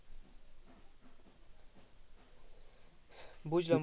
বুঝলাম